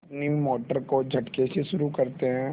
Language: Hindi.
अपनी मोटर को झटके से शुरू करते हैं